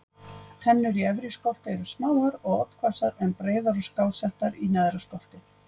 Tennur í efri skolti eru smáar og oddhvassar en breiðar og skásettar í neðra skolti.